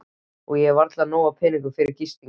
Og ég á varla nóga peninga fyrir gistingu.